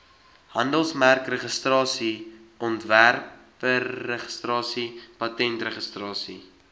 handelsmerkregistrasie ontwerpregistrasie patentregistrasie